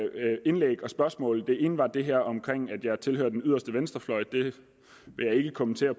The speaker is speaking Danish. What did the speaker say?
indlæg og spørgsmål det ene var det her omkring at jeg tilhører den yderste venstrefløj det vil jeg ikke kommentere